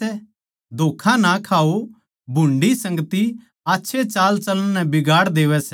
धोक्खा ना खाओ भुंडी संगति आच्छे चालचलण नै बिगाड़ देवै सै